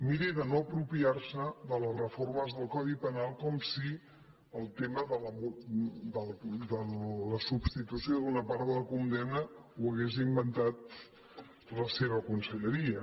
miri de no apropiar se de les reformes del codi penal com si el tema de la substitució d’una part de la condemna ho hagués inventat la seva conselleria